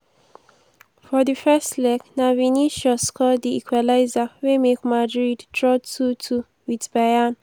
for di first leg na vinicius score di equaliser wey make madrid draw 2-2 wit bayern.